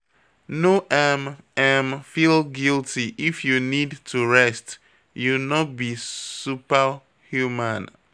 No um [um]feel guilty if you need to rest, you no be super human.